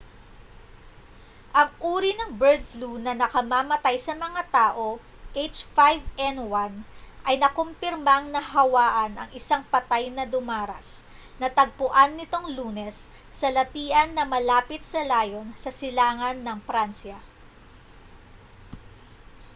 ang uri ng bird flu na nakamamatay sa mga tao h5n1 ay nakumpirmang nahawaan ang isang patay na dumaras natagpuan nitong lunes sa latian na malapit sa lyon sa silangan ng pransya